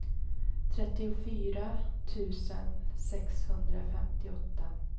trettiofyra tusen sexhundrafemtioåtta